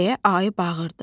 deyə ayı bağırdı.